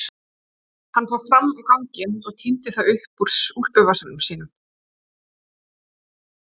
Hann fór fram á ganginn og tíndi það upp úr úlpuvasanum sínum.